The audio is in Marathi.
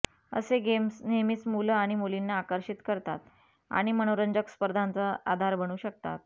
असे गेम्स नेहमीच मुलं आणि मुलींना आकर्षित करतात आणि मनोरंजक स्पर्धांचा आधार बनू शकतात